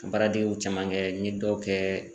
Baaradegew caman kɛ n ye dɔw kɛ